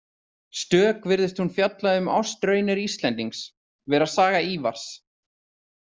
Stök virðist hún fjalla um ástarraunir Íslendings, vera saga Ívars.